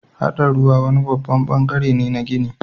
Haɗa ruwa wani babban bangare ne na ginin.